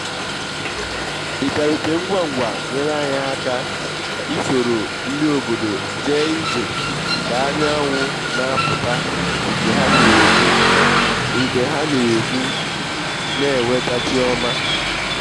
ịbiarute ngwa ngwa nyere anyị aka isoro ndị obodo jee ije ka-anyanwụ na-apụta nke ha na-ekwu nke ha na-ekwu na eweta chi ọma